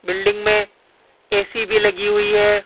Building में AC भी लगी हुई है।